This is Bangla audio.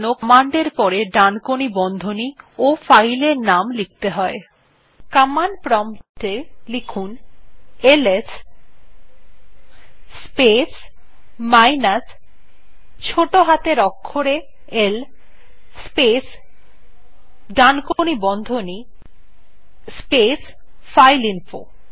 কমান্ড প্রম্পট এ লিখুন এলএস স্পেস মাইনাস ছোটো হাতের অক্ষরে l space right angle bracket space file info